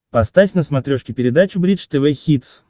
поставь на смотрешке передачу бридж тв хитс